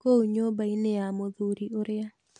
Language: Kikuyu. kũu nyũmbainĩ ya mũthuri ũrĩa.